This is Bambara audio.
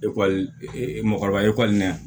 Ekɔlimɔgɔba ekɔlila yan